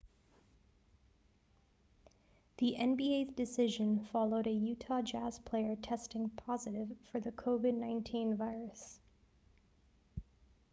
the nba's decision followed a utah jazz player testing positive for the covid-19 virus